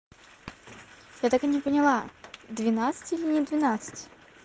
я так и не поняла двенадцать или не двенадцать